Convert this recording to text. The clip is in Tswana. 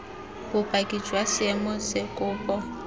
bopaki jwa seemo se kopo